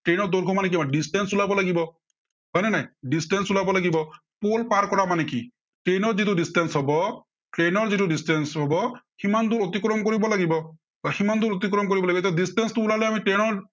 train ৰ দৈৰ্ঘ্য় মানে কিমান। distance ওলাব লাগে, হয় নে নাই। distance ওলাব লাগিব, pool পাৰ কৰা মানে কি train ৰ যিটো distance হব train ৰ যিটো distance হব, সিমান দূৰ অতিক্ৰম কৰিব লাগিব। সিমান দূৰ অতিক্ৰম কৰিব লাগিব এতিয়া। distance টো ওলালে আমাৰ train ৰ